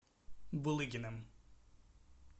булыгиным